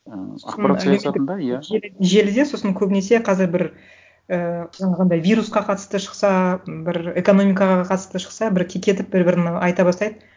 ііі ақпарат саясатында иә желіде сосын көбінесе қазір бір ііі жаңағындай вирусқа қатысты шықса бір экономикаға қатысты шықса бір кекетіп бір бірін айта бастайды